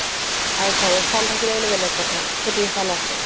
আৰু ঘৰৰ চাউল থাকিলে বেলেগ কথা বোলে খেতিৰ চাউল আছে